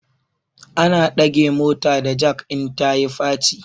Ana dage mota da jak in ta yi faci